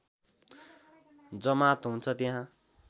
जमात हुन्छ त्यहाँ